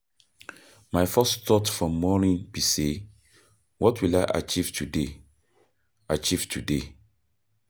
My first thought for morning be say "what will I achieve today?" achieve today?"